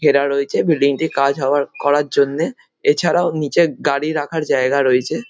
ঘেরা রয়েছে কাজ হওয়ার করার জন্যে। এছাড়াও নিচে গাড়ি রাখার জায়গা রয়েছে।